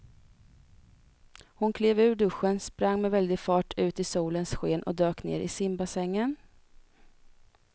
Hon klev ur duschen, sprang med väldig fart ut i solens sken och dök ner i simbassängen.